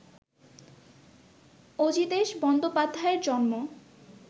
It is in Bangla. অজিতেশ বন্দোপাধ্যায়ের জন্ম